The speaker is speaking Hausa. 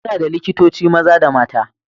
Muna da likitoci maza da mata.